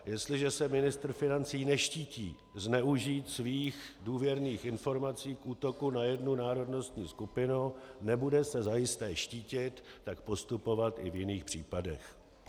Jestliže se ministr financí neštítí zneužít svých důvěrných informací k útoku na jednu národnostní skupinu, nebude se zajisté štítit tak postupovat i v jiných případech.